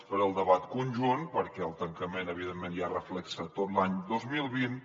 faré el debat conjunt perquè el tancament evidentment ja reflecteix tot l’any dos mil vint